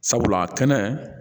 Sabula kɛnɛ